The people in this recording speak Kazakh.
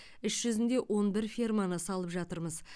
іс жүзінде он бір ферманы салып жатырмыз